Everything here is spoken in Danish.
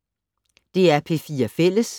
DR P4 Fælles